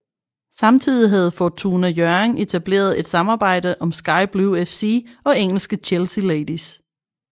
Samtidig havde Fortuna Hjørring etableret et samarbejde om Sky Blue FC og engelske Chelsea Ladies